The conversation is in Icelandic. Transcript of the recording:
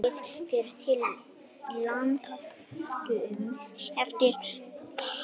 Málið fer til landsdóms eftir páska